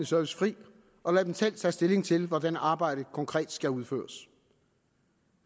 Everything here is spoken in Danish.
service fri og lade dem selv tage stilling til hvordan arbejdet konkret skal udføres